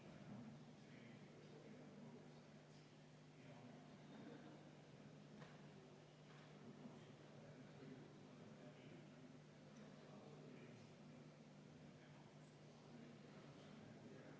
Tegemist on maksukorralduse seaduse muutmise ja tulumaksuseaduse muutmise seadusega.